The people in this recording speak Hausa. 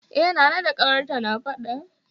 E, Nana da ƙawarta na faɗa